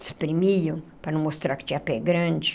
Espremiam para não mostrar que tinha pé grande.